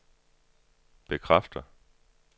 bekræfter